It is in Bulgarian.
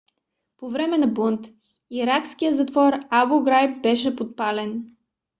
по време на бунт иракският затвор абу граиб беше подпален